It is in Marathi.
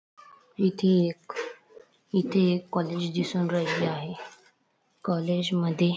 इथे एक इथे एक कॉलेज दिसून राहिले आहे कॉलेजमध्ये --